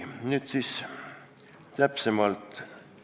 Nüüd täpsemalt.